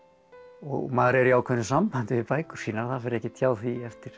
og maður er í ákveðnu sambandi við bækur sínar það fer ekkert hjá því eftir